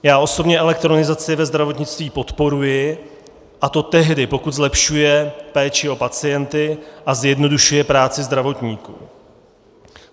Já osobně elektronizaci ve zdravotnictví podporuji, a to tehdy, pokud zlepšuje péči o pacienty a zjednodušuje práci zdravotníků.